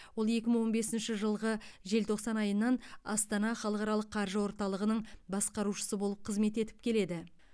ол екі мың он бесінші жылғы желтоқсан айынан астана халықаралық қаржы орталығының басқарушысы болып қызмет етіп келеді